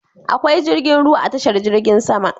Akwai jirgin ruwa a tashar jirgin sama